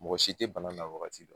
Mɔgɔ si tɛ bana na wagati dɔn